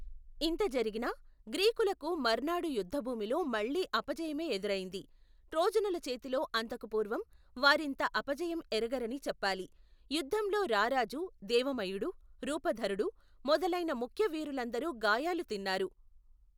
ఇంత జరిగినా, గ్రీకులకు మర్నాడు యుద్దభూమిలో మళ్ళీ అపజయమే ఎదురైంది, ట్రోజనులచేతిలో అంతకు పూర్వం వారింత అపజయం ఎరగరని చెప్పాలి, యుద్దంలో రారాజూ దేవ మయుడు, రూపధరుడు మొదలైన ముఖ్య వీరులందరూ గాయాలు తిన్నారు.